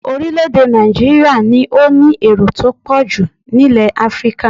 Orílẹ̀-èdè Nàìjííríà ni ó ní èrò tó pọ̀ jù nílẹ̀ Áfíríkà